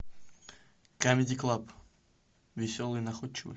камеди клаб веселые и находчивые